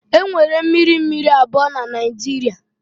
Enwere mmiri mmiri abụọ na Naijiria.